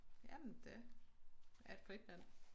Jamen det er et frit land